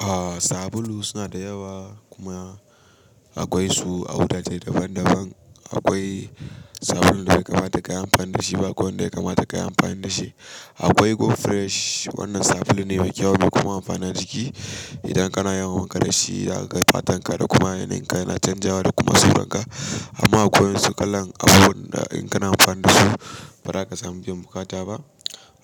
Ah, sabulu suna da yawa kuma akwai su a wurare daban-daban. Akwai sabulun da bai kamata kayi amfani da shi ba, akwai wanda ya kamata kayi amfani da shi. Akwai Go Fresh, wannan sabulun ne mai kyau kuma amfana jiki. Idan kana yawon ƙarashi da fatan ka da kuma yanayin ka yana canjawa da kuma suranka. Amma akwai wasu kalan abubuwan da in kana amfani da su ba za ka samu biyan bukata ba.